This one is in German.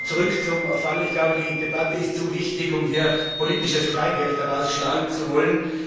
Aber zurück zum Fall Ich glaube, die Debatte ist zu wichtig, um hier politisches Kleingeld daraus schlagen zu wollen.